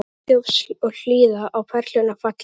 Friðþjófs og hlýða á perlurnar falla.